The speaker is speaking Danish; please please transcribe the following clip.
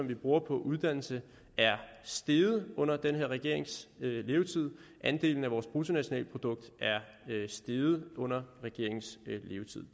vi bruger på uddannelse er steget under den her regerings levetid andelen af vores bruttonationalprodukt er steget under regeringens levetid